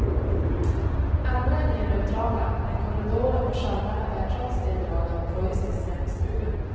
Andra är mer neutrala, men korridoren med sköldarna bär trots det drag av preussisk jaktstuga.